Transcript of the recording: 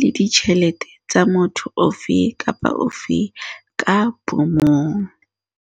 le ditjhelete tsa motho ofe kapa ofe ka bomong.